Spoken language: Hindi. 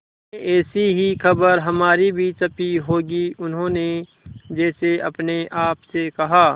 में ऐसी ही खबर हमारी भी छपी होगी उन्होंने जैसे अपने आप से कहा